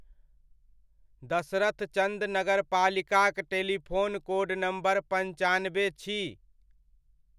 दसरथचन्द नगरपालिकाक telephone code number पन्चानबे छी।